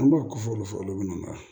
An b'a kɔfɛ olu fɔ olu bɛ na